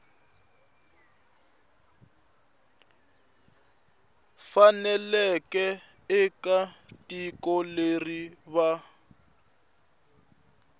faneleke eka tiko leri va